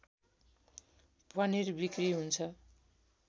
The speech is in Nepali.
पनिर बिक्री हुन्छ